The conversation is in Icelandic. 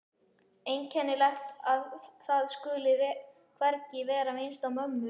Einkennilegt að það skuli hvergi vera minnst á mömmu.